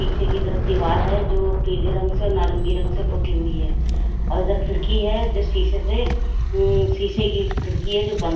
पीछे की तरफ दीवार है जो पीले रंग से और नारंगी रंग से पोती हुई है और इधर खिड़की है जो शीशे से ऊ शीशे की खिड़की है जो बंद--